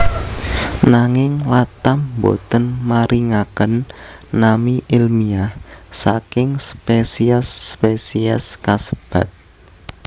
Nanging Latham boten maringaken nami èlmiah saking spesies spesies kasebat